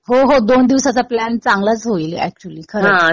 हो हो. दोन दिवसाचा प्लॅन चांगलाच होईल. एक्चुअली खरंच.